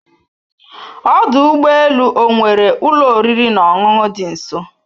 Ọdụ ụgbọ elu ọ nwere ụlọ oriri na ọṅụṅụ dị nso?